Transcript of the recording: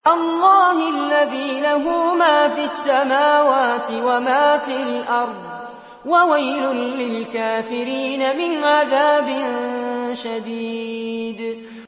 اللَّهِ الَّذِي لَهُ مَا فِي السَّمَاوَاتِ وَمَا فِي الْأَرْضِ ۗ وَوَيْلٌ لِّلْكَافِرِينَ مِنْ عَذَابٍ شَدِيدٍ